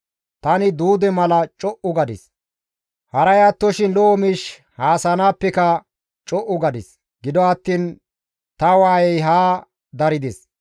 Tani duude mala co7u gadis; haray attoshin lo7o miish haasayanaappeka co7u gadis; gido attiin ta waayey haa darides.